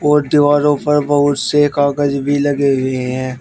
और दीवारो पर बहुत से कागज भी लगे हुए हैं।